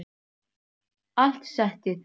Allt settið